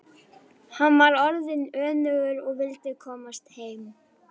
Hann var orðinn önugur og vildi komast heim.